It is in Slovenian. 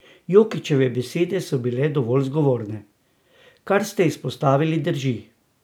Jokićeve besede so bile dovolj zgovorne: "Kar ste izpostavili, drži.